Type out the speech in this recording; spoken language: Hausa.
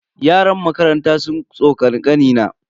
Yaran makaranta sun tsokani kanina.